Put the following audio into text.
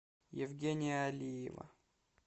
евгения алиева